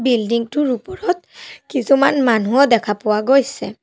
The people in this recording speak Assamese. বিল্ডিং টোৰ ওপৰত কিছুমান মানুহো দেখা পোৱা গৈছে।